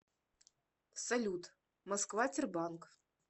салют москва тербанк